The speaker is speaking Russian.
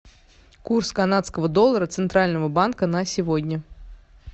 курс канадского доллара центрального банка на сегодня